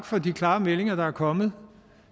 for de klare meldinger der er kommet